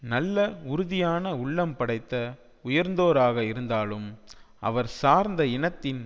நல்ல உறுதியான உள்ளம் படைத்த உயர்ந்தோராக இருந்தாலும் அவர் சார்ந்த இனத்தின்